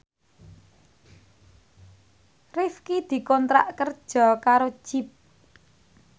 Rifqi dikontrak kerja karo Jeep